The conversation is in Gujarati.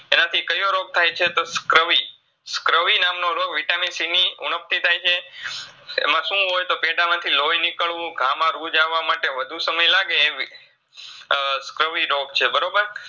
એનાથી કયો રોગ થાયછે તો સ્કર્વી. સ્કર્વી નામનો રોગ Vitamin C ની ઉણબથી થાયછે, એમાંસુ હોય તો પેટમાંથી લોઈ નિકડવું માટે વધુ સમય લાગે એવી અ સ્કર્વી રોગ છે બરોબર?